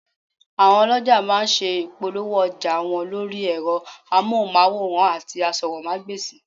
Àwọn ọlọ̀jà má a nse ìpolówó ọjà wọn lórí ẹ̀rọ amóhùnmáwòràn àti asọ́rọ́mágbèsì